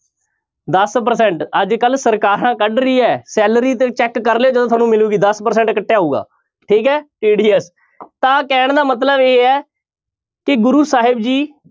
ਦਸ percent ਅੱਜ ਕੱਲ੍ਹ ਸਰਕਾਰਾਂ ਕੱਢ ਰਹੀਆਂ ਹੈ salary ਤੇ check ਕਰ ਲਇਓ ਜਦੋਂ ਸਾਨੂੰ ਮਿਲੇਗੀ ਦਸ percent ਕੱਟਿਆ ਹੋਊਗਾ ਠੀਕ ਹੈ TDS ਤਾਂ ਕਹਿਣ ਦਾ ਮਤਲਬ ਇਹ ਹੈ ਕਿ ਗੁਰੂ ਸਾਹਿਬ ਜੀ